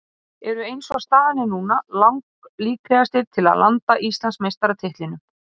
Ómar Vilhelmsson ljósmyndari Fótbolta.net náði þessum flottu myndum af markinu og fagnaðarlátunum í kjölfarið.